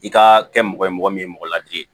I ka kɛ mɔgɔ ye mɔgɔ min ye mɔgɔ ladi ye